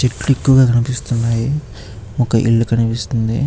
చెట్లు ఎక్కువ గా కనిపిస్తున్నాయి. ఒక ఇల్లు కనిపిస్తుంది.